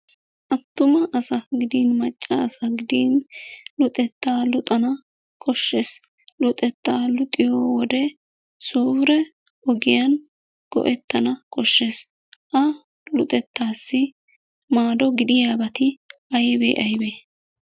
Attuma asa gidin macca asa gidin luxettaa luxana koshshees. Luxettaa luxiyo wode suure ogiyan go"ettana koshshees. Ha luxettaassi maado gidiyaabati aybee aybee?